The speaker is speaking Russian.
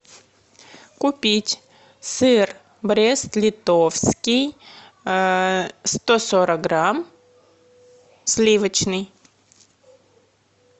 купить сыр брест литовский сто сорок грамм сливочный